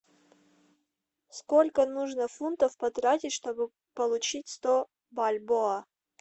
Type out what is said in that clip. сколько нужно фунтов потратить чтобы получить сто бальбоа